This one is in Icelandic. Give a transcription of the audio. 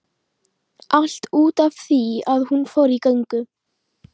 Allt út af því að hún fór í göngu